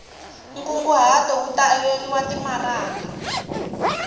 nkunguhato wu ta averiwa timaraka